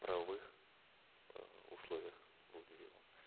правовых э условиях будет сделано